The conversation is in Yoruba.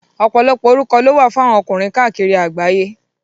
Ọ̀pọ̀lọpọ̀ orúkọ lówà fún àwọn ọkùnrin káàkiri àgbáyé.